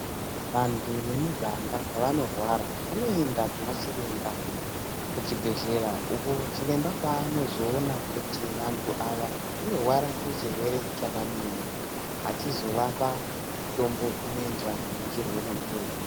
Vantu vemuganga pavanorwara vanoenda kuna chiremba kuchibhehlera uko chiremba paanozoona kuti vantu ava vanorwara nechirwere chakadini achizovapa mutombo unoenderana nechirwere ichocho.